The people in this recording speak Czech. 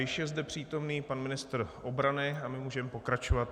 Již je zde přítomen pan ministr obrany a my můžeme pokračovat.